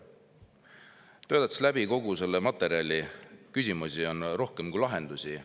kogu selle materjali läbi töötanud, küsimusi on rohkem kui lahendusi.